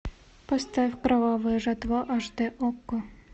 поставь кровавая жатва аш д окко